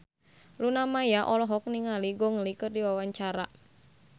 Luna Maya olohok ningali Gong Li keur diwawancara